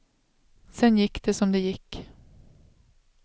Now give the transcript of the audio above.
Sen gick det som det gick.